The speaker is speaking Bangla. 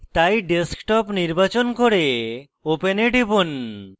তাই desktop নির্বাচন করে open এ টিপুন